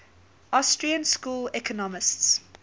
austrian school economists